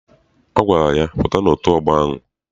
Ọ gwara ya, pụta n'otu ọgbọ ahụ!